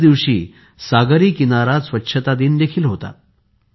याच दिवशी सागरी किनारा स्वछता दिन देखील होता